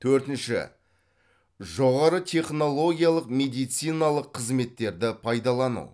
төртінші жоғары технологиялық медициналық қызметтерді пайдалану